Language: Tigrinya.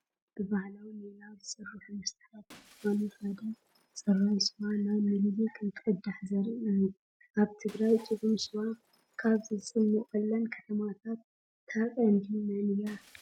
ካብ ብባህላዊ ሜላ ዝስርሑ መስተታት ዝኾነ ሓደ ፅራይ ስዋ ናብ ሚኒሊክ እንትቕዳሕ ዘርኢ እዩ፡፡ ኣብ ትግራይ ጥዑም ስዋ ካብ ዝፅሞቐለን ከተማታት እታ ቀንዲ መን እያ?